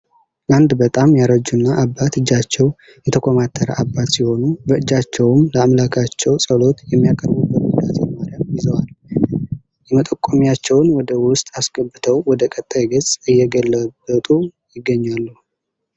አንድ በጣም ያረጁና አባት እጃቸው የተኮማተረ አባት ሲሆኑ በእጃቸውም ለአምላካቸው ጸሎት የሚያቀርቡበት ውዳሴ ማርያም ይዘዋል። የመጠቆሚያቸውን ወደ ውስጥ አስገብተው ወደ ቀጣይ ገጽ እየገለበጡ ይገኛሉ።